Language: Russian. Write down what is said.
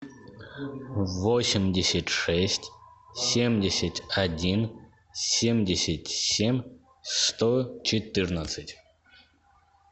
восемьдесят шесть семьдесят один семьдесят семь сто четырнадцать